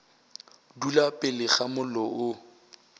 dula pele ga mollo o